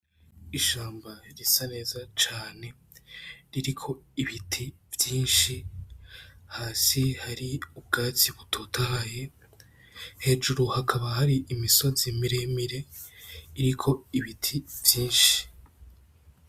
Ishamba risa neza cane ririko ibiti vyinshi hasi hari ubwatsi butotahaye hejuru hakaba hari imisozi mire mire iriko ibiti vyinshi.